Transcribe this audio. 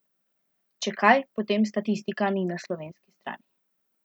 Če kaj, potem statistika ni na slovenski strani.